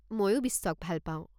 মইও বিশ্বক ভাল পাওঁ।